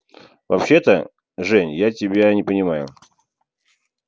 вообще-то жень я тебя не понимаю